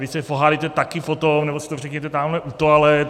Vy se pohádejte taky potom, nebo si to řekněte tamhle u toalet.